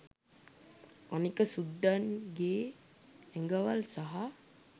අනික සුද්දන්ගේ ඇඟවල් සහ